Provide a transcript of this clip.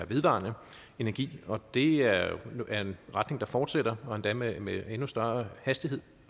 vedvarende energi og det er er en retning der fortsætter og endda med med endnu større hastighed